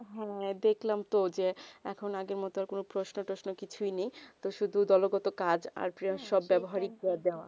হেঁ দেখলাম তো যে এখন আগে মতুন প্রস্নউ ট্রসনো কিছু ই নেই তো শুধু দলগত কাজ আর প্রিয়া সব ব্যবহারিক